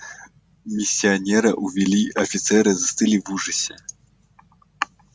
миссионера увели офицеры застыли в ужасе